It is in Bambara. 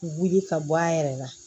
Wuli ka bɔ a yɛrɛ la